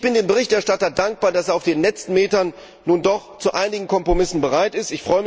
Ich bin dem Berichterstatter dankbar, dass er auf den letzten Metern nun doch zu einigen Kompromissen bereit ist.